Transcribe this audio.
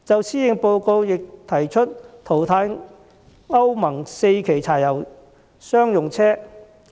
施政報告亦提出淘汰歐盟 IV 期柴油商用車。